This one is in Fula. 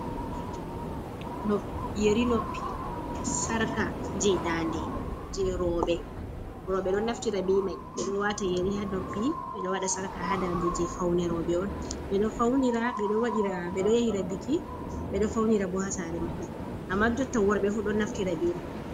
Yeri noppi sarka je dande je roɓe be ɗon naftira ɓe mai, ɗon wata yeri ha noppi ɓeɗo waɗa sarka ha dande je faune roɓe on ɓe faunira bedo yahi rabiki bedo faunira bo ha sare maɓɓe amma jotta worbe fu ɗon naftira be mai.